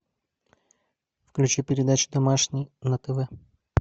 включи передачу домашний на тв